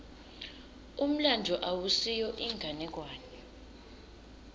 umlandvo awusiyo inganekwane